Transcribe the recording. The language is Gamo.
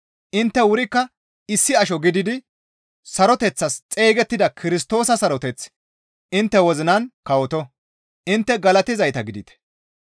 Intte wurikka issi asho gididi saroteththas xeygettida Kirstoosa saroteththi intte wozinan kawoto; intte galatizayta gidite.